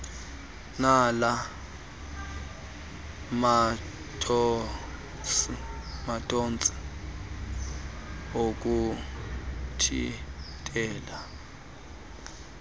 nala mathontsi okuthintela